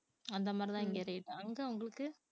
அந்த மாதிரிதான் இங்க rate அங்க உங்களுக்கு